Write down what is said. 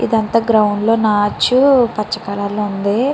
అంత గ్రౌండ్లో ని నాచు పచ్చ కలర్ లో ఉంది.